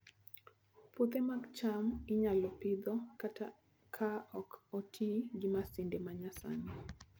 Puothe mag cham inyalo Pidho kata ka ok oti gi masinde ma nyasani